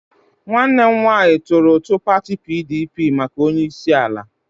Nwanne m nwanyi turu utu pati PDP maka onyeisiala.